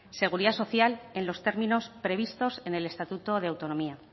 seguridad social en los términos previstos en el estatuto de autonomía